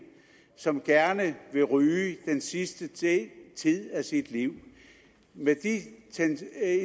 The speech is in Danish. som gerne vil ryge den sidste tid tid af sit liv med de